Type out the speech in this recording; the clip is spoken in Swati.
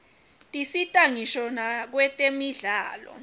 tisita ngisho nakwetemidlalo